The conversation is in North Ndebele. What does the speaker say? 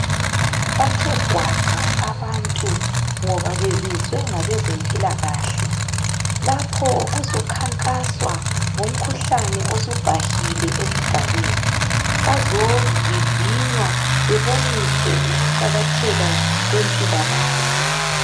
Bathe gwaqa abantu ngoba bebizwe ngabezempilakahle, lapho kuzokhankaswa ngomkhuhlane osubhahile esigabeni, bazovivinywa beboniswe ukuqakatheka kwempilakahle.